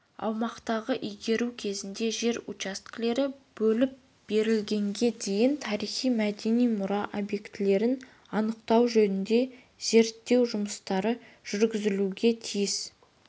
аумақтарды игеру кезінде жер учаскелері бөліп берілгенге дейін тарихи-мәдени мұра объектілерін анықтау жөнінде зерттеу жұмыстары жүргізілуге тиіс